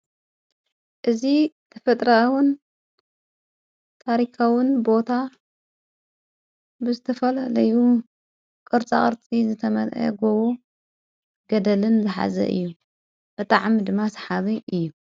እዝ ክፍጥራዉን ታሪካዉን ቦታ ብስተፈል ለዩ ቕርፃቕርፂ ዘተመል ጐዎ ገደልን ዘሓዘ እዩ በጥዓሚ ድማ ሰሓበይ እዩ።